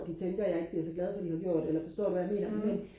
de tænker jeg ikke bliver så glad for de har gjort eller forstår du hvad jeg mener men